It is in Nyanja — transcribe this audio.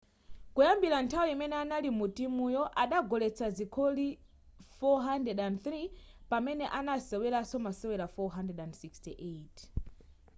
kuyambira nthawi imene anali mu timuyi adagoletsa zigoli 403 pamene anasewera masewero 468